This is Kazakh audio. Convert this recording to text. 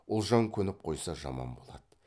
ұлжан көніп қойса жаман болады